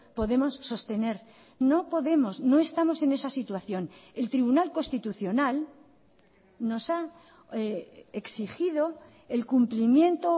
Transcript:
podemos sostener no podemos no estamos en esa situación el tribunal constitucional nos ha exigido el cumplimiento